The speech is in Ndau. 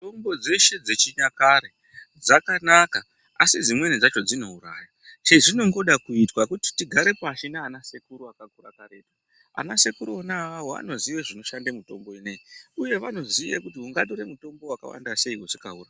Mitombo dzeshe dzechinyakare dzakanaka, asi dzimweni dzacho dzinouraya. Chezvingoda kuitwa kuti tigare pashi naanasekuru akakura karetu. Anasekuru vona avawo anoziye zvinoshande mitombo ineyi, uye anoziye kuti ungatore mutombo wakawanda sei usingaurai.